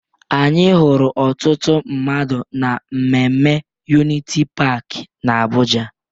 Anyị hụrụ ọtụtụ mmadụ na mmemme Uniti Paakị n'Abụja.